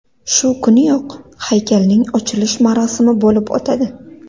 Shu kuniyoq haykalning ochilish marosimi bo‘lib o‘tadi.